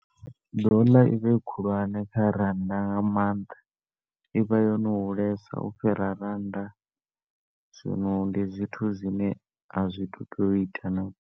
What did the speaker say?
Dollar i vha i khulwane kha rannda nga maanḓa, i vha yo no hulesa u fhira rannda, zwino ndi zwithu zwine a zwi tu tu ita nalu .